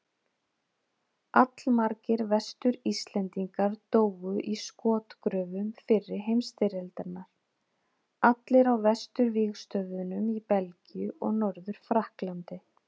Allmargir Vestur-Íslendingar dóu í skotgröfum fyrri heimsstyrjaldarinnar, allir á vesturvígstöðvunum í Belgíu og Norður-Frakklandi.